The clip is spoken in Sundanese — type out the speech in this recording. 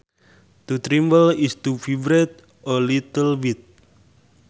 To tremble is to vibrate a little bit